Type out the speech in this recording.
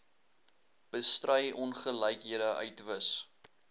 bestry ongelykhede uitwis